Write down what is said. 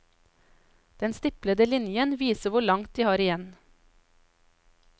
Den stiplede linjen viser hvor langt de har igjen.